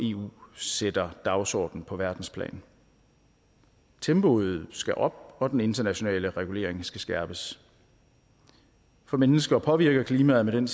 eu sætter dagsorden på verdensplan tempoet skal op og den internationale regulering skal skærpes for mennesker påvirker klimaet med den